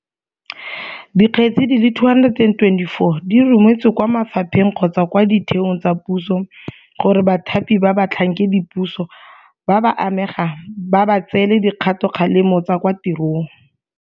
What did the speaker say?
Dikgetse di le 224 di rometswe kwa mafapheng kgotsa kwa ditheong tsa puso gore bathapi ba batlhankedipuso ba ba amegang ba ba tseele dikgatokgalemo tsa kwa tirong.